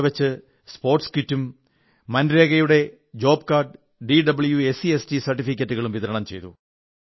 അവിടെവച്ച് sports kit ദേശീയ തൊഴിലുറപ്പ് പദ്ധതിയുടെ ജോബ് കാർഡുകൾ പടട്ിക ജാതി പട്ടിക വർഗ്ഗ് സർട്ടിഫിക്കറ്റുകൾ മുതലായവ വിതരണം ചെയ്തു